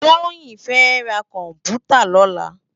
Toyin fè rá kòmpútá lòlá